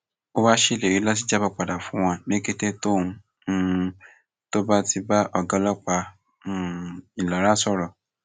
ó wáá ṣèlérí láti jábọ padà fún wọn ní kété tóun um tó bá ti bá ọgá ọlọpàá um ìlara sọrọ